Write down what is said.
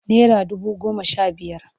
Nera dubu goma sha biyar.